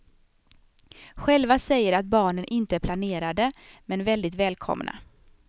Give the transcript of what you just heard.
Själva säger de att barnen inte är planerade, men väldigt välkomna.